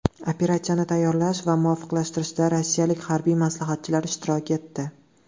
Operatsiyani tayyorlash va muvofiqlashtirishda rossiyalik harbiy maslahatchilar ishtirok etdi.